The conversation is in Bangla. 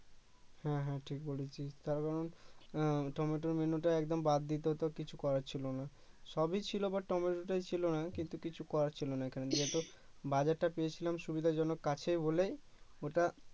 হ্যা হ্যা ঠিক বলেছিস তার কারণ, আহ টমেটোত মেন্যুটা একদম বাদ দিতে হতো কিছু করার ছিলো না সবই ছিলো but টমেটোটাই ছিলো না কিন্তু কিছু করার ছিলো না এখানে যেহেতু বাজার টা পেয়েছিলাম সুবিধাজনক কাছেই বলে ওটা